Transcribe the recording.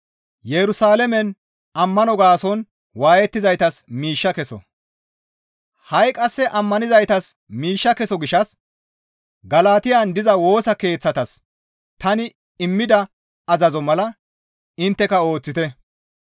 Ha7i qasse ammanizaytas miishsha keso gishshas Galatiyan diza Woosa Keeththatas tani immida azazo mala intteka ooththite.